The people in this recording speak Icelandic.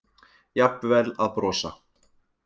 Jafnvel að brosa.